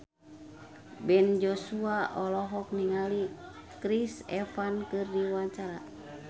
Ben Joshua olohok ningali Chris Evans keur diwawancara